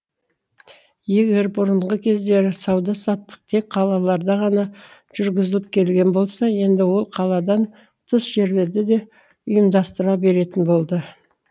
егер бұрынғы кездері сауда саттық тек қалаларда ғана жүргізіліп келген болса енді ол қаладан тыс жерлерде де ұйымдастырыла беретін болды